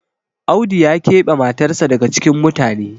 Audu ya kebe matarsa daga cikin mutane